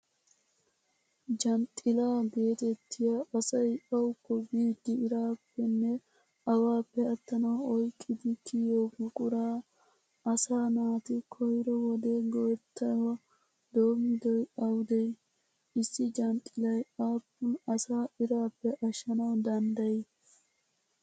Janxxilaa geetettiya, asay awukko biiddi iraappenne awaappe attanawu oyqqidi kiyo buquraa asaa naati koyro wode go'ettuwaa doommidoy awudee? Issi janxxillay aappun asaa iraappe ashshanawu danddayii?